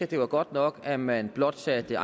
det var godt nok at man blot satte